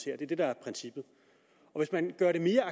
er det der er princippet hvis man gør det mere